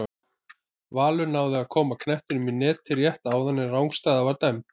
Valur náði að koma knettinum í netið rétt áðan en rangstaða var dæmd.